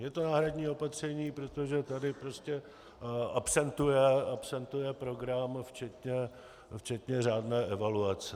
Je to náhradní opatření, protože tady prostě absentuje program včetně řádné evaluace.